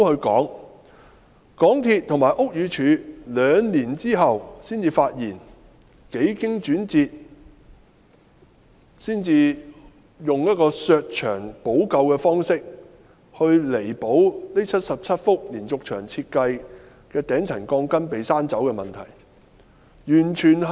港鐵公司及屋宇署在兩年後才發現，幾經轉折，才採用削牆補救的方式來彌補這77幅連續牆設計的頂層鋼筋被削走的問題。